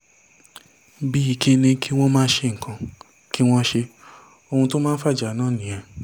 bíi kí n ní kí wọ́n má ṣe nǹkan kí wọ́n ṣe é ohun tó máa ń fàjà náà nìyẹn